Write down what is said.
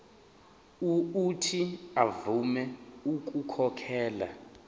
uuthi avume ukukhokhela